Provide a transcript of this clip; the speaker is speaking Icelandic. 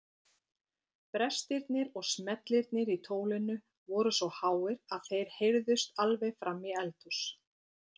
Brestirnir og smellirnir í tólinu voru svo háir að þeir heyrðust alveg fram í eldhús.